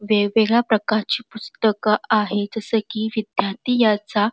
वेगवेगळ्या प्रकारची पुस्तक आहेत जस की विद्यार्थ याचा --